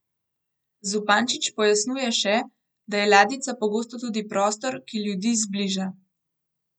Zupančič pojasnjuje še, da je ladjica pogosto tudi prostor, ki ljudi zbliža.